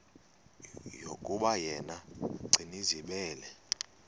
yokuba yena gcinizibele